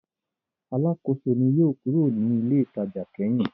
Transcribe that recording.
Alákòóso ni yóò kúrò ní ilé-ìtajà kẹ́yìn.